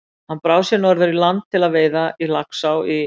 Hann brá sér norður í land til veiða í Laxá í